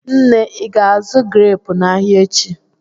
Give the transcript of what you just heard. Nne, Ị ga-azụ greepụ n'ahịa echi?